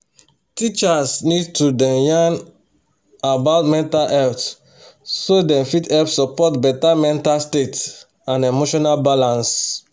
teachers need to dey yan about mental health so dem fit help support better mental state and emotional balance.